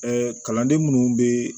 kalanden minnu bɛ